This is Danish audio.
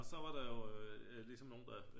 Og så var der jo ligesom nogle der